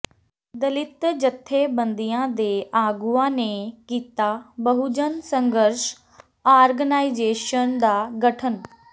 ਦਲਿਤ ਜਥੇਬੰਦੀਆਂ ਦੇ ਆਗੂਆਂ ਨੇ ਕੀਤਾ ਬਹੁਜਨ ਸੰਘਰਸ਼ ਆਰਗਨਾਈਜ਼ੇਸ਼ਨ ਦਾ ਗਠਨ